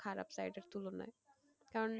খারাপ side এর তুলনায়। কারণ,